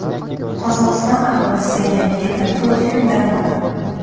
Qozog‘iston aholisi Yangi yilda to‘rt kun dam oladi.